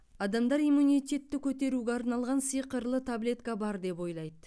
адамдар иммунитетті көтеруге арналған сиқырлы таблетка бар деп ойлайды